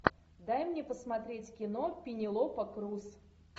дай мне посмотреть кино пенелопа крус